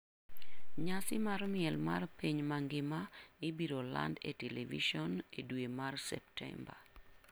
Nyasi mar miel mar piny mangima ibiro land e televison e dwe mar Septemba.